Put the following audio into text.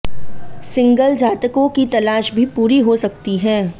single जातकों की तलाश भी पूरी हो सकती है